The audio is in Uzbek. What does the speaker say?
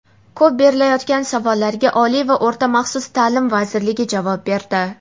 Ko‘p berilayotgan savollarga Oliy va o‘rta maxsus ta’lim vazirligi javob berdi.